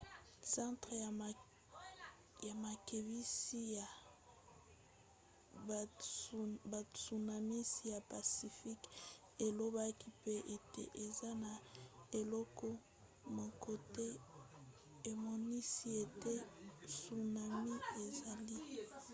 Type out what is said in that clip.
centre ya makebisi ya batsunamis ya pacifique elobaki mpe ete eza na eloko moko te emonisi ete tsunami ezali